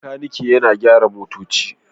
Makaniki yana gyara motoci